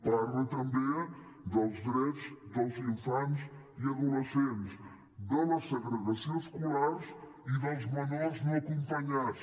parla també dels drets dels infants i adolescents de la segregació escolar i dels menors no acompanyats